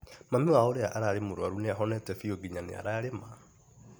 Mami wao ũrĩa ararĩ mũrwaru nĩa ahonete biũ nginya nĩararĩma.